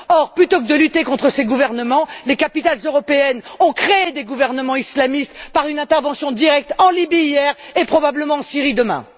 Or, plutôt que de lutter contre ces gouvernements, les capitales européennes ont créé des gouvernements islamistes par une intervention directe en Libye hier, et probablement en Syrie demain.